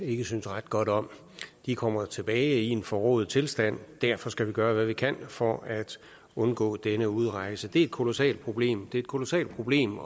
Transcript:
ikke synes ret godt om de kommer tilbage i en forrået tilstand derfor skal vi gøre hvad vi kan for at undgå denne udrejse det er et kolossalt problem det er et kolossalt problem